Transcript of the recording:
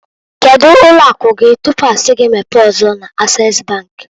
Kedu ụlọ akụ gi tupu a si gi mepee ọzọ na- Ases bank?